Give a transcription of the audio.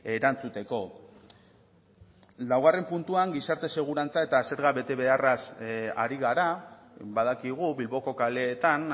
erantzuteko laugarren puntuan gizarte segurantza eta zerga betebeharraz ari gara badakigu bilboko kaleetan